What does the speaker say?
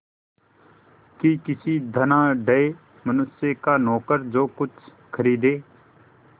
कि किसी धनाढ़य मनुष्य का नौकर जो कुछ खरीदे